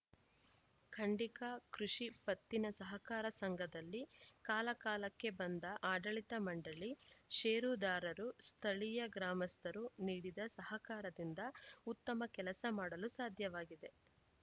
ಖಂಡಿಕಾ ಕೃಷಿ ಪತ್ತಿನ ಸಹಕಾರ ಸಂಘದಲ್ಲಿ ಕಾಲಕಾಲಕ್ಕೆ ಬಂದ ಆಡಳಿತ ಮಂಡಳಿ ಷೇರುದಾರರು ಸ್ಥಳೀಯ ಗ್ರಾಮಸ್ಥರು ನೀಡಿದ ಸಹಕಾರದಿಂದ ಉತ್ತಮ ಕೆಲಸ ಮಾಡಲು ಸಾಧ್ಯವಾಗಿದೆ